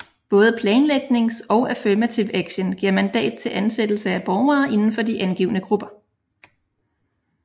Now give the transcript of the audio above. Både planlægnings og affirmative action giver mandat til ansættelse af borgere inden for de angivne grupper